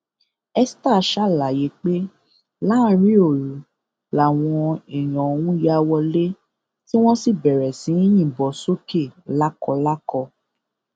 esther ṣàlàyé pé láàrin òru làwọn èèyàn ọhún ya wọlé tí wọn sì bẹrẹ sí í yìnbọn sókè lákọlákọ